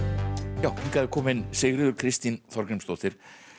já hingað er komin Sigríður Kristín Þorgrímsdóttir